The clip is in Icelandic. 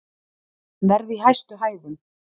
Verð í hæstu hæðum